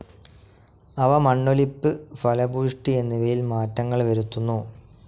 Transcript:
അവ മണ്ണൊലിപ്പ്, ഫലഭൂഷ്ടി എന്നിവയിൽ മാറ്റങ്ങൾ വരുത്തുന്നു.